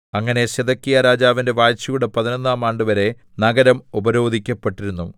അങ്ങനെ സിദെക്കീയാരാജാവിന്റെ വാഴ്ചയുടെ പതിനൊന്നാം ആണ്ടുവരെ നഗരം ഉപരോധിക്കപ്പെട്ടിരുന്നു